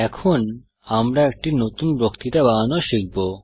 এখন আমরা একটি নতুন বক্তৃতা বানানো শিখব